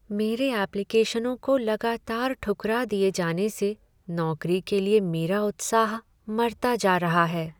मेरे एप्लीकेशनों को लगातार ठुकरा दिये जाने से नौकरी के लिए मेरा उत्साह मरता जा रहा है।